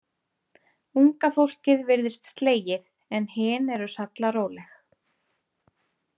Unga fólkið virðist slegið en hin eru sallaróleg.